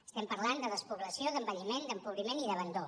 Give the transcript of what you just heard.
estem parlant de despoblació d’envelliment d’empobriment i d’abandó